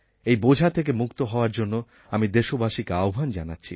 এই বোঝা থেকে মুক্ত হওয়ার জন্য আমি দেশবাসীকে আহ্বান জানাচ্ছি